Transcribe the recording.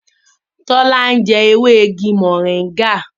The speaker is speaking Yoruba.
Tola njé ewe ìgi moringa.